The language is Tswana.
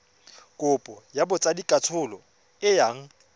kopo ya botsadikatsholo e yang